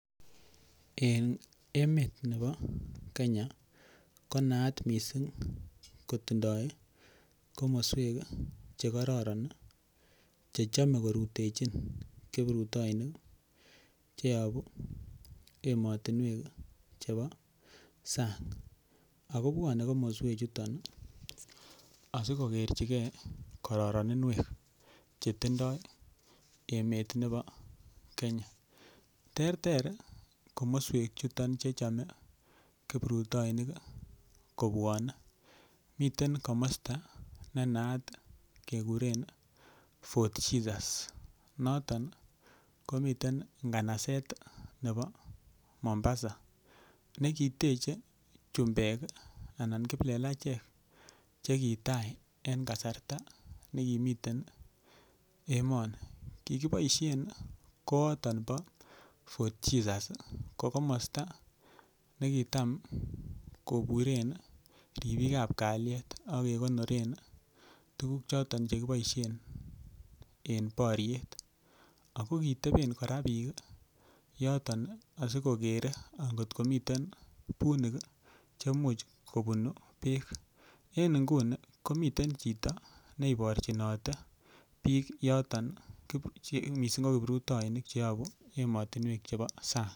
En emet nebo Kenya konaat missing' kotindo komoswek chekororon chechome korutechi kiprutoinik cheyobu emotinuek chebo sang'. Ak kobwone komoswek chuton asikokerchikei kororoninwek chetindo emet nebo Kenya. Terter komoswek chuton chechome kiprutoinik kobwone. Miten komosto nenaat kekuren Fort Jesus, noton komiten nganaset nebo Mombasa. Nekiteche chumbek anan kiplelachek chekitai en kasarta nekimiten emoni, kikiboisien kooton bo Fort Jesus ko komosto nekitam koburen ribikab kaliet ak kekonoren tuguk choton chekiboisien en boriet ako kiteben kora biik asikokere kotko miten bunik chemuch kobun beek. En nguni komiten chito neiborchinote biik yoton missing' ko kiprutoinik cheyobu emotinwek chebo sang'.